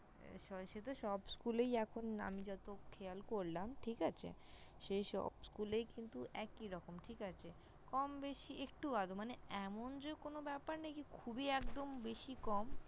সে তো সব School -এই এখন আমি যত খেয়াল করলাম। ঠিক আছে। সেই সব School -এই কিন্তু একইরকম। ঠিক আছে। কম বেশি একটু আধটু মানে এমন যে কোনো ব্যাপার নেই যে খুবই একদম বেশি কম।